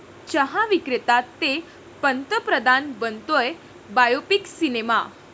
चहा विक्रेता ते पंतप्रधान, बनतोय बायोपिक सिनेमा!